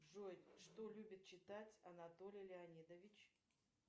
джой что любит читать анатолий леонидович